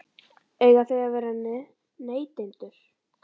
Eiga þau að vera neytendur?